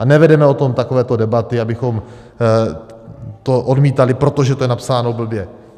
A nevedeme o tom takovéto debaty, abychom to odmítali, protože to je napsáno blbě.